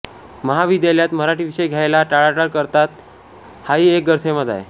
महाविद्यालयात मराठी विषय घ्यायला टाळाटाळ करतात हाही एक गैरसमज आहे